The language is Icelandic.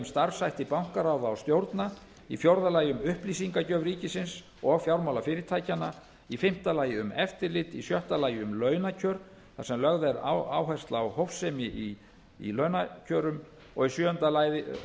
starfshætti bankaráða og stjórna fjórði um upplýsingagjöf ríkisins og fjármálafyrirtækjanna fimmta um eftirlit sjöttu um launakjör þar sem lögð er áhersla á hófsemi í launakjörum sjöunda